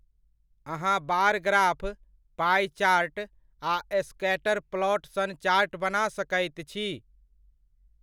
अहाँ bar graph, pie chart आ scatter plot sun chart बना सकैत छी।